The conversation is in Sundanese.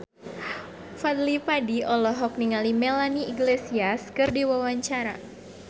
Fadly Padi olohok ningali Melanie Iglesias keur diwawancara